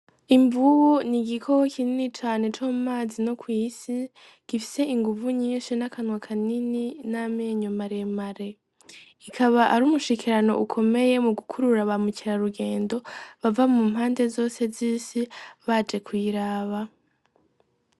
Imvubu n'igikoko kinini cane co mumazi no kw'isi gisise inguvu nyinshi n'akanwa kanini n'amenyo mare mare ikaba ari umushikirano mu gukurura ba mukera rugendo bava mu mpande zose z isi baje kuyiraba.